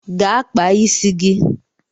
Gaa kpaa isi gị!